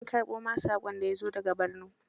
An karɓo ma saƙon da ya zo da ga Borno?